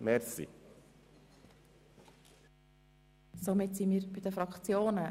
Wir kommen zu den Fraktionsvoten.